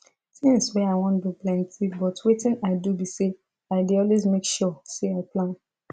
things wey i wan do plenty but wetin i do be say i dey always make sure say i plan